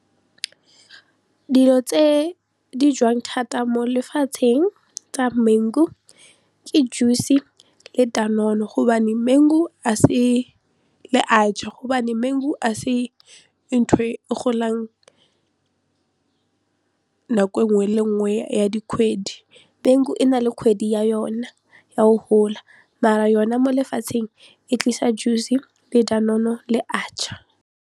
Dilo tse di jewang thata mo lefatsheng tsa mengu ke juice le dadone le archaar gobane mangu a se ntho e golang nako nngwe le nngwe ya dikgwedi mangu e na le kgwedi ya yona ya go gola mara yona mo lefatsheng e tlisa juice le dadone-o le archaar.